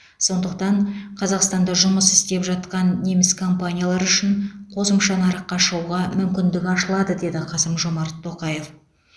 сондықтан қазақстанда жұмыс істеп жатқан неміс компаниялары үшін қосымша нарыққа шығуға мүмкіндік ашылады деді қасым жомарт тоқаев